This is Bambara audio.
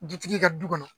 Dutigi ka du kɔnɔ